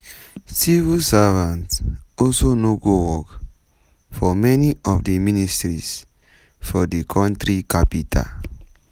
civil servants also no go work for many of di ministries for di contri capital.